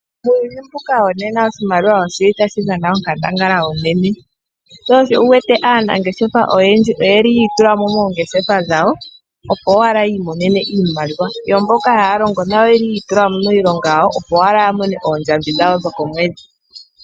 Muuyuni mbuka wo nena oshimaliwa oshili tashi dhana onkandangala unene sho osho wu wete aanangeshefa oyendji oyeli yi itulamo moongeshefa dhayo opo owala yi imonene iimaliwa yo mboka haya longo nayo oyeli yi itulamo miilonga yawo opo owala ya mone oondjambi dhayo dhokomwedhi.